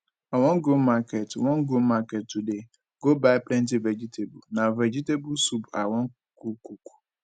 i wan go market wan go market today go buy plenty vegetable na vegetable soup i go cook